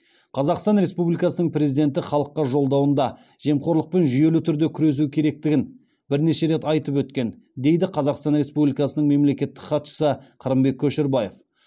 қазақстан республикасының президенті халыққа жолдауында жемқорлықпен жүйелі түрде күресу керектігін бірнеше рет айтып өткен дейді қазақстан республикасының мемлекеттік хатшысы қырымбек көшербаев